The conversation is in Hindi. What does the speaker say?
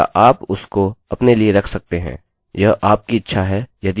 या आप उसको अपने लिए रख सकते हैं यह आपकी इच्छा है यदि आप दर्शाना चाहते हैं